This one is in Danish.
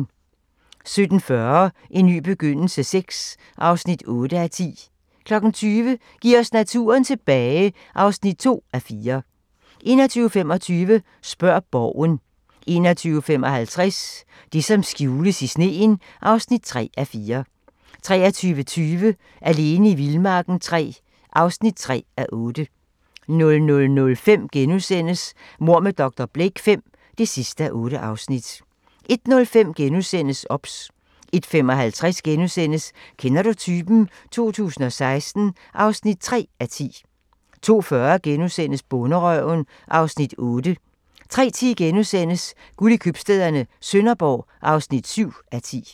17:40: En ny begyndelse VI (8:10) 20:00: Giv os naturen tilbage (2:4) 21:25: Spørg Borgen 21:55: Det som skjules i sneen (3:4) 23:20: Alene i vildmarken III (3:8) 00:05: Mord med dr. Blake V (8:8)* 01:05: OBS * 01:55: Kender du typen? 2016 (3:10)* 02:40: Bonderøven (Afs. 8)* 03:10: Guld i købstæderne - Sønderborg (7:10)*